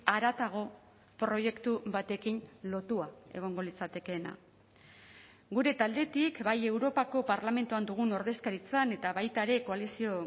haratago proiektu batekin lotua egongo litzatekeena gure taldetik bai europako parlamentuan dugun ordezkaritzan eta baita ere koalizio